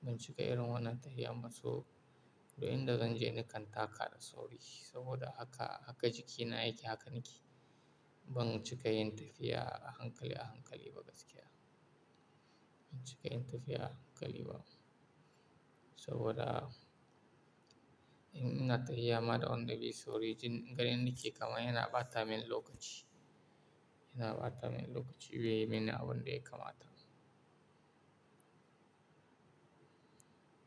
Ban cika irin wannan tafiya masu, inda zan je nakan taka da sauri. Saboda haka, haka jikina yake, haka nake. Ban cika yin tafiya a hankali a hankali ba gaskiya. Ban cika yin tafiya a hankali ba. Saboda ina tafiya ma da wanda be sauri, jin gani nake kama yana bata min lokaci. Yana bata min lokaci, wuya min a wanda ya kama ta.